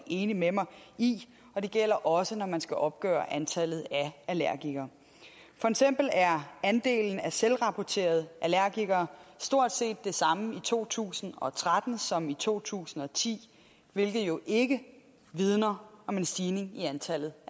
enig med mig i og det gælder også når man skal opgøre antallet af allergikere for eksempel er andelen af selvrapporterede allergikere stort set den samme i to tusind og tretten som i to tusind og ti hvilket jo ikke vidner om en stigning i antallet